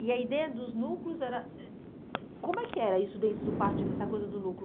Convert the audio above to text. E a ideia dos núcleos era... ãh Como é que era isso dentro do partido, essa coisa do núcleo?